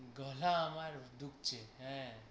গলা আমার ধুকছে হ্যাঁ।